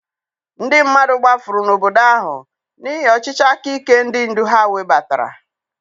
Ndị mmadụ gbafuru n'obodo ahụ n'ihi ọchịchị aka ike ndị ndu ha webatara.